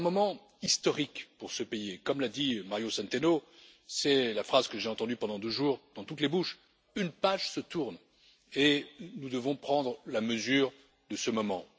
C'est un moment historique pour ce pays et, comme l'a dit Mario Centeno c'est la phrase que j'ai entendue pendant deux jours dans toutes les bouches une page se tourne et nous devons prendre la mesure de ce moment.